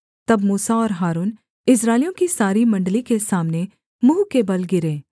तब मूसा और हारून इस्राएलियों की सारी मण्डली के सामने मुँह के बल गिरे